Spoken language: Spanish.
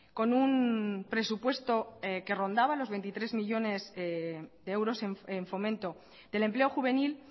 con un presupuesto que rondaba los veintitrés millónes de euros en fomento del empleo juvenil